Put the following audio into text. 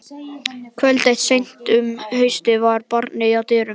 Kvöld eitt seint um haustið var barið að dyrum.